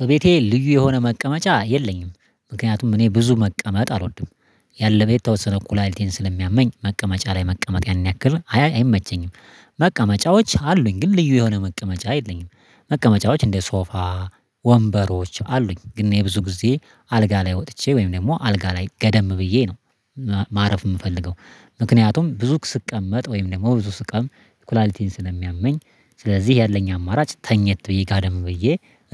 በቤቴ ልዩ የሆነ መቀመጫ የለኝም ምክንያቱም እኔ ብዙ መቀመጥ አልወድም። ያለም የተወሰነ እኮ ኩላሊቴን ስለሚያመኝ መቀመጫ ላይ መቀመጥ ያንን ያክል አይመቸኝም። መቀመጫዎች አሉኝ ግን ልዩ የሆነ መቀመጫ የለኝም። መቀመጫዎች እንደ ሶፋ ወንበሮች አሉኝ ግን የብዙ ጊዜ አልጋ ላይ ወጥቼ ወይም ደግሞ አልጋ ላይ ገደም ብዬ ነው ማረፍ የምፈልገው። ምክንያቱም ብዙ ስቀመጥ ወይም ደግሞ ብዙ ስቆም ኩላሊቲን ስለሚያመኝ። ስለዚህ ያለኝ አማራጭ ተኝቶ ብዬ ጋደም ብዬ